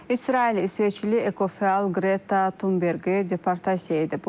İsrail İsveçli ekofəal Qreta Tunberqi deportasiya edib.